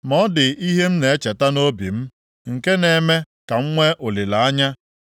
Ma ọ dị ihe m na-echeta nʼobi m nke na-eme ka m nwee olileanya.